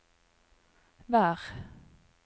vær